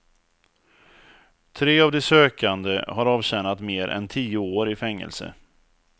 Tre av de sökande har avtjänat mer än tio år i fängelse.